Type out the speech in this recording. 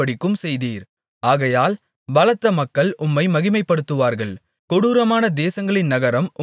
ஆகையால் பலத்த மக்கள் உம்மை மகிமைப்படுத்துவார்கள் கொடூரமான தேசங்களின் நகரம் உமக்குப் பயப்படும்